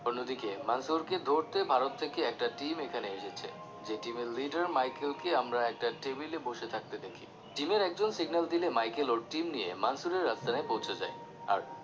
অন্যদিকে মানসুর কে ধরতে ভারত থেকে একটা team এখানে এসেছে যে team leader Michael কে আমরা একটা টেবিলে বসে থাকতে দেখি team একজন signal দিলে Michael ওর team নিয়ে মানসুরের আস্তানায় পৌছে যায় আর